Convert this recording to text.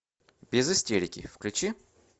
без истерики включи